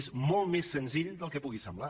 és molt més senzill del que pugui semblar